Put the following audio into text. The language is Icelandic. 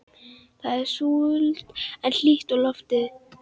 Það er súld en hlýtt í lofti.